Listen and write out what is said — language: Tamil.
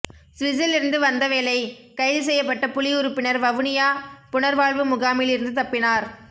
சுவிஸ்சில் இருந்து வந்தவேளை கைது செய்யப்பட்ட புலி உறுப்பினர் வவுனியா புனர்வாழ்வு முகாமில் இருந்து தப்பினார்